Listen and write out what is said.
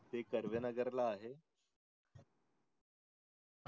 ते कडव्या नगर ला आहे